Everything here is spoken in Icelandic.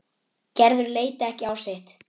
Gerður leit ekki á sitt.